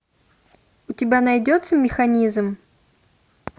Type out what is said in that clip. у тебя найдется механизм